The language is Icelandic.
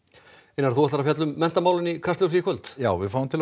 einar þú ætlar að fjalla um menntamálin í Kastljósi í kvöld já ég fæ til